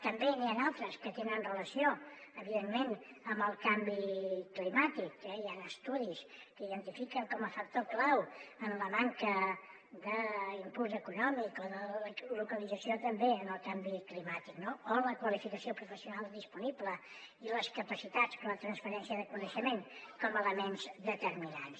també n’hi ha d’altres que tenen relació evidentment amb el canvi climàtic eh hi han estudis que identifiquen com a factor clau en la manca d’impuls econòmic o de la localització també el canvi climàtic no o la qualificació professional disponible i les capacitats per a la transferència de coneixement com a elements determinants